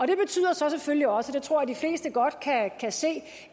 det betyder så selvfølgelig også og det tror jeg de fleste godt kan kan se